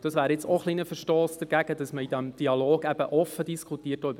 Das wäre auch ein kleiner Verstoss dagegen, dass man im Dialog offen diskutiert, auch darüber.